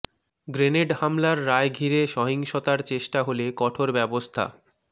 grenade হামলার রায় ঘিরে সহিংসতার চেষ্টা হলে কঠোর ব্যবস্থা